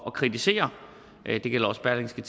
at kritisere det gælder også berlingske